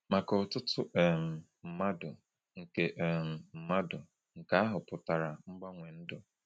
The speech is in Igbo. Maka ọtụtụ um mmadụ, nke um mmadụ, nke ahụ pụtara mgbanwe ndụ.